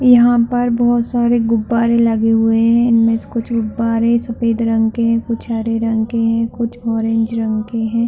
यहाँ पर बहोत सारे गुब्बारे लगे हुए है। इनमे से कुछ गुब्बारे सफ़ेद रंग के है। कुछ हरे रंग के कुछ ऑरेंज रंग के है।